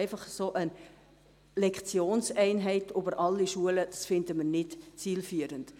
Einfach eine Lektionseinheit über alle Schulen finden wir aber nicht zielführend.